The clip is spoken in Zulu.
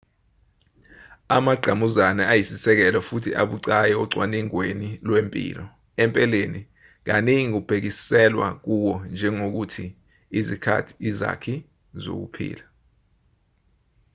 amangqamuzane ayisisekelo futhi abucayi ocwaningweni lwempilo empeleni kaningi kubhekiselwa kuwo njengokuthi izakhi zokuphila